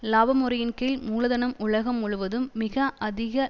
இலாபமுறையின்கீழ் மூலதனம் உலகம் முழுவதும் மிக அதிக